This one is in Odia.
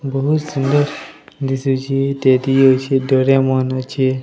ବହୁତ ସୁନ୍ଦର ଦିଶୁଚି। ଟେଡି ଅଛି ଡୋରେମନ ଅଛି --